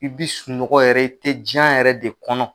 I bi sunɔgɔ yɛrɛ i tɛ jiyan yɛrɛ de kɔnɔ.